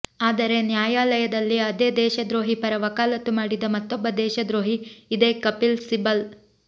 ಆದರೆ ನ್ಯಾಯಾಲಯದಲ್ಲಿ ಅದೇ ದೇಶದ್ರೋಹಿ ಪರ ವಕಾಲತು ಮಾಡಿದ ಮತ್ತೊಬ್ಬ ದೇಶದ್ರೋಹಿ ಇದೇ ಕಪಿಲ್ ಸಿಬಲ್